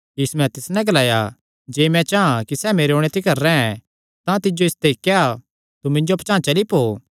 यीशुयैं तिस नैं ग्लाया जे मैं चां कि सैह़ मेरे ओणे तिकर रैंह् तां तिज्जो इसते क्या तू मिन्जो पचांह़ चली पौ